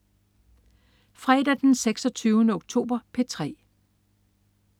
Fredag den 26. oktober - P3: